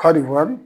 Hali